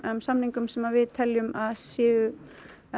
samningum sem við teljum að séu